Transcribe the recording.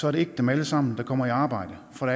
er det ikke dem alle sammen der kommer i arbejde for